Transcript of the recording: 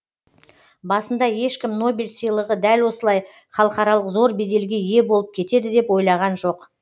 басында ешкім нобель сыйлығы дәл осылай халықаралық зор беделге ие болып кетеді деп ойлаған жоқ